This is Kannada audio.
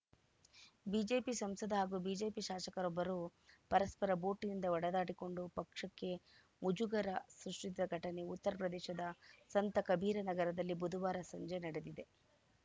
ಬಿಜೆಪಿ ಸಂಸದ ಹಾಗೂ ಬಿಜೆಪಿ ಶಾಸಕರೊಬ್ಬರು ಪರಸ್ಪರ ಬೂಟಿನಿಂದ ಹೊಡೆದಾಡಿಕೊಂಡು ಪಕ್ಷಕ್ಕೆ ಮುಜುಗರ ಸೃಷ್ಟಿಸಿದ ಘಟನೆ ಉತ್ತರಪ್ರದೇಶದ ಸಂತ ಕಬೀರನಗರದಲ್ಲಿ ಬುಧವಾರ ಸಂಜೆ ನಡೆದಿದೆ